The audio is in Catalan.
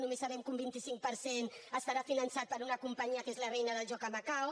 només sabem que un vint cinc per cent estarà finançat per una companyia que és la reina del joc a macau